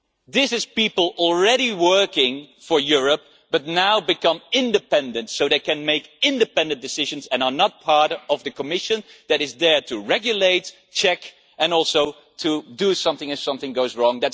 This is people who are already working for Europe, but who will now become independent so they can make independent decisions and are not part of the Commission that is there to regulate, check and also to do something if something goes wrong.